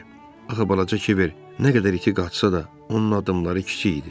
Axı balaca Kiver nə qədər iti qaçsa da, onun addımları kiçik idi.